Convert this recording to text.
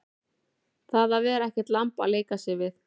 Að vera ekkert lamb að leika sér við